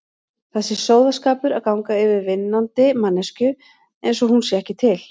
Það sé sóðaskapur að ganga yfir vinnandi manneskju einsog hún sé ekki til.